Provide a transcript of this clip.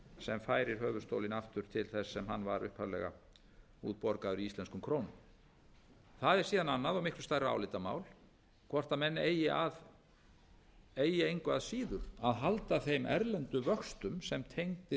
sem færir höfuðstólinn aftur til þess sem hann var upphaflega útborgaður í íslenskum krónum það er síðan annað og miklu stærra álitamál hvort menn eigi engu að síður að halda þeim erlendu vöxtum sem tengdir